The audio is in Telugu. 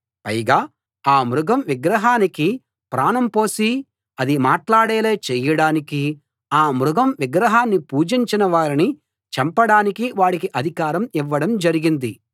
పైగా ఆ మృగం విగ్రహానికి ప్రాణం పోసి అది మాట్లాడేలా చేయడానికీ ఆ మృగం విగ్రహాన్ని పూజించని వారిని చంపడానికీ వాడికి అధికారం ఇవ్వడం జరిగింది